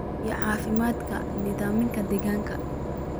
iyo caafimaadka nidaamka deegaanka.